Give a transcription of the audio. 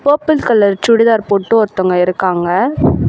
Purple colour churidar போட்டு ஒருத்தங்க இருக்காங்க.